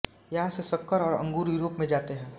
यहाँ से शक्कर और अंगूर युरोप में जाते है